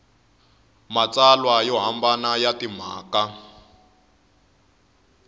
matsalwa yo hambana ya timhaka